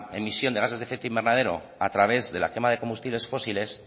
emisión de gases de efecto invernadero a través de la quema de combustibles fósiles